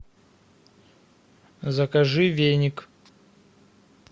закажи веник